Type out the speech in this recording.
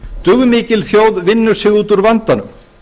dugmikil þjóð vinnur sig út úr vandanum